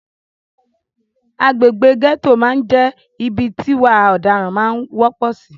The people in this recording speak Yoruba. Agbègbè gẹ́tò máà ń jẹ́ ibi tí ìwà ọ̀daran máà ń wọ́pọ̀ sì.